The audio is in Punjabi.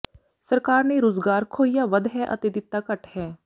ਸਰਕਾਰ ਨੇ ਰੁਜ਼ਗਾਰ ਖੋਹਿਆ ਵੱਧ ਹੈ ਅਤੇ ਦਿੱਤਾ ਘੱਟ ਹੈ